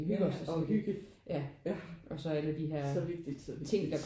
Ja ja og hygge ja så vigtigt så vigtigt